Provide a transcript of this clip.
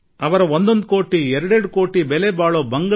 ಮೇಲ್ನೋಟಕ್ಕೆ ಒಂದೊಂದು ಕೋಟಿ ಎರಡೆರಡು ಕೋಟಿಯ ಬಂಗಲೆಗಳು ಕಾಣುತ್ತವೆ